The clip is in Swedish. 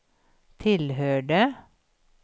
tillhörde